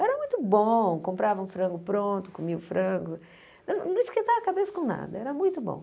Era muito bom, comprava um frango pronto, comia o frango, não esquentava a cabeça com nada, era muito bom.